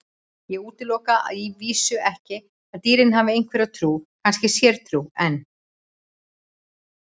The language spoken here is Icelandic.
Ég útiloka að vísu ekki að dýrin hafi einhverja trú, kannski sértrú, en.